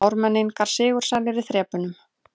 Ármenningar sigursælir í þrepunum